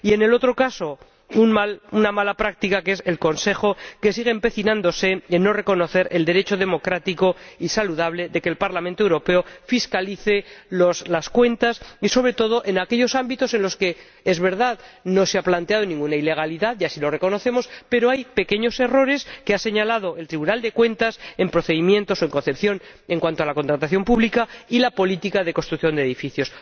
Y en el lado opuesto, una mala práctica del Consejo, que sigue empecinándose en no reconocer el derecho democrático y saludable de que el Parlamento Europeo fiscalice las cuentas, sobre todo en aquellos ámbitos en los que, es verdad, no se ha planteado ninguna ilegalidad, y así lo reconocemos, pero hay pequeños errores que ha señalado el Tribunal de Cuentas en procedimientos o en concepción en cuanto a la contratación pública y la política de construcción de edificios.